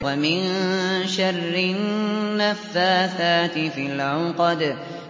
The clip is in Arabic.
وَمِن شَرِّ النَّفَّاثَاتِ فِي الْعُقَدِ